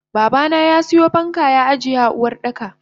Babana yasiyo fanka ya ajiye a Uwardaka.